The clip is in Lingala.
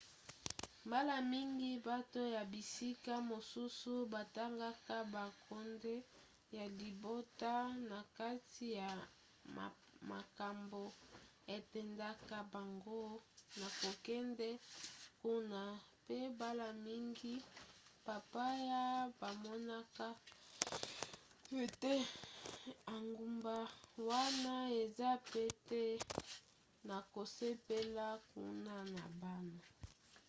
mbala mingi bato ya bisika mosusu batangaka bonkonde ya libota na kati ya makambo etindaka bango na kokende kuna pe mbala mingi bapaya bamonaka ete engumba wana eza pete na kosepela kuna na bana